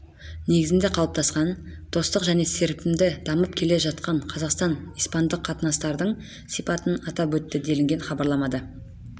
негізінде қалыптасқан достық және серпінді дамып келе жатқан қазақстан-испандық қатынастардың сипатын атап өтті делінген хабарламада